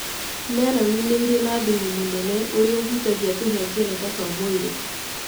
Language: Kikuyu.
Meroni nĩ irĩ na thumu mũnene ũrĩa ũhutagia tũhengereta twa mwĩrĩ.